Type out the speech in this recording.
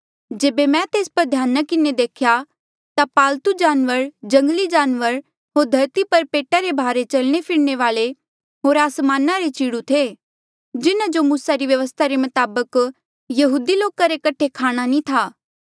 जेबे मैं तेस पर ध्याना किन्हें देख्या ता पालतु जानवर जंगली जानवर होर धरती पर पेटा रे भारे चलणे फिरणे वाले होर आसमाना रे चिड़ु थे जिन्हा जो मूसा री व्यवस्था रे मताबक यहूदी लोका रे कठे खाणा ना थी